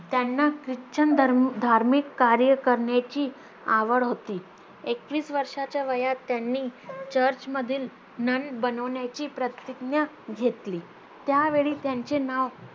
त्यांना ख्रिश्चन धर्म धार्मिक कार्य करण्याची आवड होती एकवीस वर्षाच्या वयात त्यांनी चर्चमधील नन बनवण्याची प्रतिज्ञा घेतली त्यावेळी त्यांचे नाव